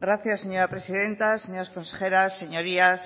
gracias señora presidenta señores consejeros señorías